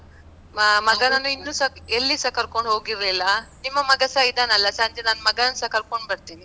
ಮ~ ಮಗನನ್ನು ಇನ್ನುಸ ಎಲ್ಲಿಸಾ ಕರ್ಕೊಂಡ್ ಹೋಗಿರ್ಲಿಲ್ಲ, ನಿಮ್ಮ ಮಗಸ ಇದ್ದಾನಲ್ಲ ಸಂಜೆ ನನ್ ಮಗನನ್ಸ ಕರ್ಕೊಂಡ್ ಬರ್ತೀನಿ.